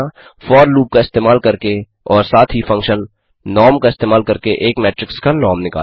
for loop का इस्तेमाल करके और साथ ही फंक्शन नॉर्म नॉर्म का इस्तेमाल करके एक मेट्रिक्स का नॉर्म निकालना